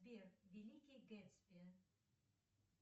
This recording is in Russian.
сбер великий гэтсби